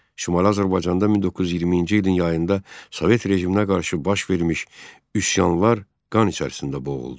Şimali Azərbaycanda 1920-ci ilin yayında Sovet rejiminə qarşı baş vermiş üsyanlar qan içərisində boğuldu.